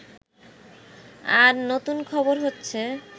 আর নতুন খবর হচ্ছে